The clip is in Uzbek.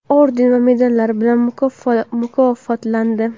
orden va medallar bilan mukofotlandi.